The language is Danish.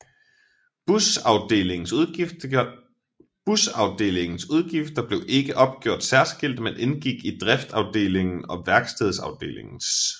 Busafdelingens udgifter blev ikke opgjort særskilt men indgik i Driftsafdelingen og Værkstedsafdelingens